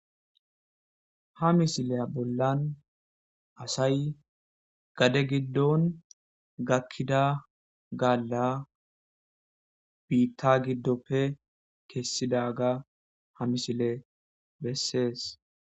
Ha misiliyan bollan asay gaade giddon gakkida gaala biitta giddoppe kessidagga ha misile besses.